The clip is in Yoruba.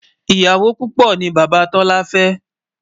ìyàwó púpò ní bàbá tola fé